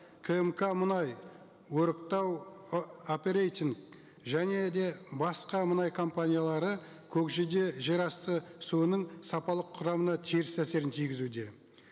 кээмка мұнай өріктау ы оперейтинг және де басқа мұнай компаниялары көкжиде жерасты суының сапалық құрамына теріс әсерін тигізуде